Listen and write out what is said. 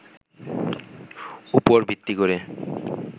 উপর ভিত্তি করে